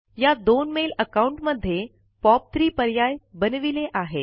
या दोन mail account मध्ये पॉप3 पर्याय बनविले आहेत